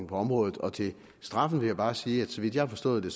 på området og til straffen vil jeg bare sige at så vidt jeg har forstået det